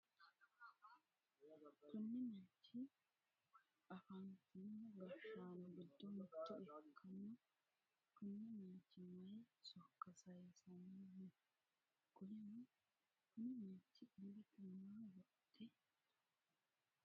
Kunni manchi afantino gashaano gido mitto ikanna kunni manchi mayi sokka sayisanni no? Qoleno kunni manchi illete maa wodhe no?